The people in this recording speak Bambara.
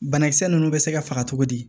Banakisɛ ninnu bɛ se ka faga cogo di